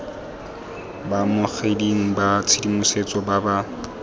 baamogeding ba tshedimosetso ba ba